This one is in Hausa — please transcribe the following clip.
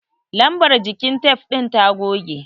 Lambar jikin tef ɗin ta goge.